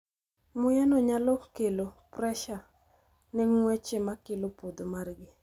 Muya no nyalo kelo presha ne ng`weche makelo podho margi